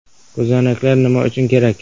Ko‘zoynaklar nima uchun kerak?